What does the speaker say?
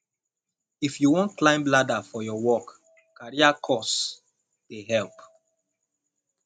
if you wan climb ladder for your work career course dey help